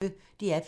DR P1